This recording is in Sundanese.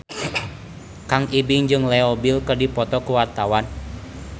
Kang Ibing jeung Leo Bill keur dipoto ku wartawan